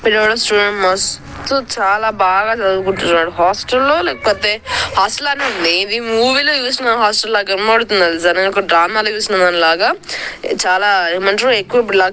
చాలా బాగా చదువుకుంటున్నాడు హాస్టల్ లో లేకపోతే హాస్టల్ లానె ఉంది ఇది మూవీ లో చుసిన హాస్టల్ లాగా కనబడుతుంది. డ్రామా లో చుసిన దాని లాగా చాల ఏమంటారు ఎక్కువ